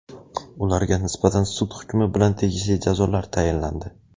ularga nisbatan sud hukmi bilan tegishli jazolar tayinlandi.